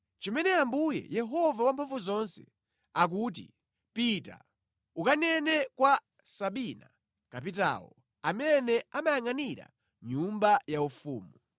Chimene Ambuye, Yehova Wamphamvuzonse akuti, “Pita, ukanene kwa Sabina kapitawo, amene amayangʼanira nyumba yaufumu: